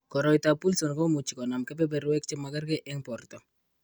Koroitoab Wilson ko much ko nam kebeberwek che magerge eng' borto.